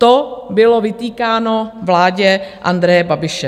To bylo vytýkáno vládě Andreje Babiše.